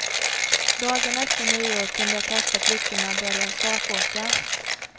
Dagarna efter nyår kunde jag kasta kryckorna och börja stakåka.